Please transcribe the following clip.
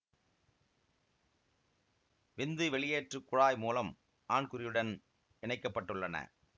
விந்து வெளியேற்றுக் குழாய் மூலம் ஆண்குறியுடன் இணைக்க பட்டுள்ளன